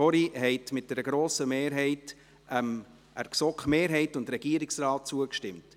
Sie haben dort vorhin mit einer grossen Mehrheit der GSoK-Mehrheit und dem Regierungsrat zugestimmt.